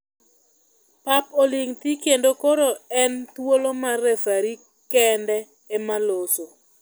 Pap oling thii kendo koro en thuolo mar referi kende ema loso.